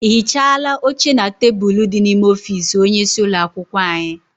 I hichaala oche na tebulu dị n'ime ọfịịsi onye isi ụlọakwụkwọ anyị?